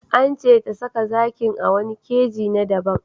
An ce ta saka zakin a wani keji na daban.